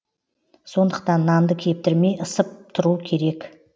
сондықтан нанды кептірмей ысып тұру керек